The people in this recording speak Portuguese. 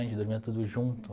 A gente dormia tudo junto.